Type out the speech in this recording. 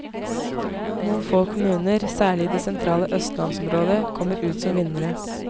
Noen få kommuner, særlig i det sentrale østlandsområdet, kommer ut som vinnere.